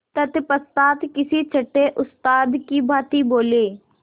तत्पश्चात किसी छंटे उस्ताद की भांति बोले